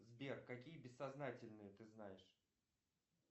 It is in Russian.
сбер какие бессознательные ты знаешь